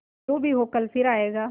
जो भी हो कल फिर आएगा